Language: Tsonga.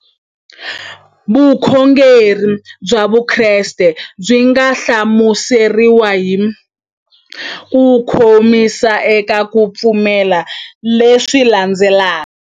Vukhongeri bya Vukreste byi nga hlamuseriwa hi kukomisa eka ku pfumela leswi landzelaka.